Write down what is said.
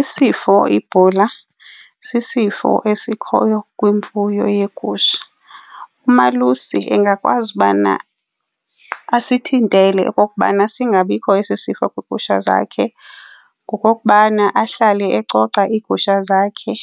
Isifo ibhula sisifo esikhoyo kwimfuyo yegusha. Umalusi angakwazi ubana asithintele okokubana singabikho esi sifo kwiigusha zakhe ngokokubana ahlale ecoca iigusha zakhe